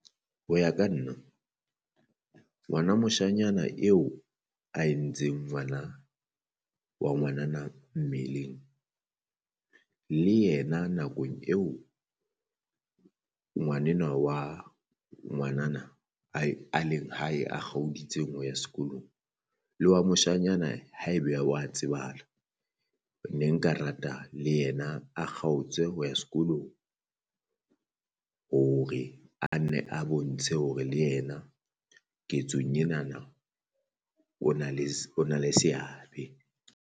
Ho ya ka nna ngwana moshanyana eo a entseng ngwana wa ngwanana mmeleng, le yena nakong eo ngwanenwa wa ngwanana a e a leng hae a kgaoditseng ho ya sekolong le wa moshanyana haebe wa tsebahala ne nka rata le yena a kgaotswe ho ya sekolong, hore a nne a bontshe hore le yena ketsong enana o na le o na le seabe.